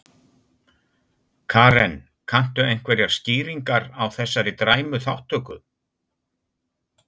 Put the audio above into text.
Karen: Kanntu einhverjar skýringar á þessari dræmu þátttöku?